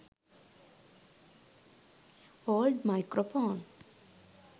old microphone